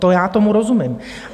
To já tomu rozumím.